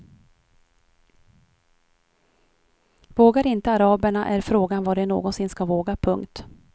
Vågar inte araberna är frågan vad de någonsin ska våga. punkt